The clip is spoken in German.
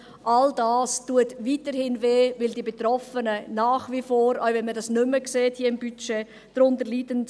All dies schmerzt weiterhin, weil die Betroffenen nach wie vor darunter leiden, auch wenn man es hier nicht mehr sieht.